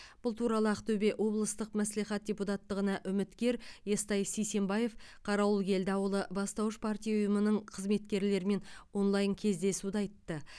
бұл туралы ақтөбе облыстық мәслихат депутаттығына үміткер естай сисенбаев қарауылкелді ауылы бастауыш партия ұйымының қызметкерлерімен онлайн кездесуде айтты